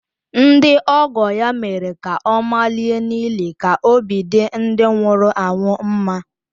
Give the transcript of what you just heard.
Ndị ọgọ ya mere ka ọ malie n’ili ka obi dị ndị nwụrụ anwụ mma